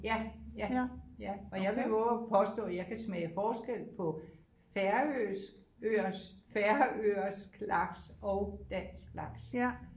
Ja ja ja og jeg vil vove at påstå at jeg kan smage forskel på færøsk øers færøsk laks og dansk laks